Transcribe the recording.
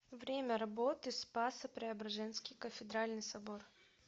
время работы спасо преображенский кафедральный собор